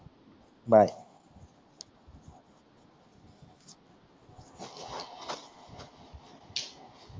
bye